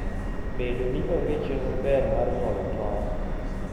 Bedo ni onge chenro maber mar nyuolo tong'.